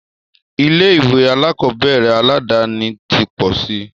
Ilé ìwé alákọ̀berẹ̀ aládàni ti pọ̀ síi.